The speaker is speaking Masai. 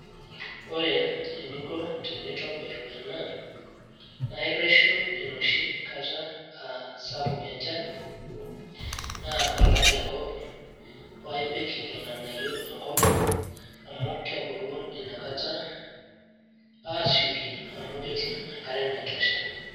ore eninko tenintobir ena, naa ireshu enoshi kata aa sapuk enchan, paa ipik irnganayio enko amu kebulu ina kata aasioki amu ,ketum enkare naitosha.